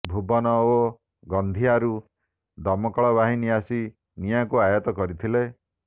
ଭୁବନ ଓ ଗଁନ୍ଦିଆରୁ ଦମକଳବାହିନୀ ଆସି ନିଆଁକୁ ଆୟତ୍ତ କରିଥିଲେ